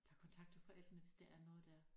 Tager kontakt til forældrene hvis der er noget der